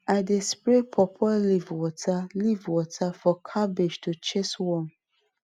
i dey spray pawpaw leaf water leaf water for cabbage to chase worm